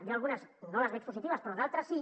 jo algunes no les veig positives però d’altres sí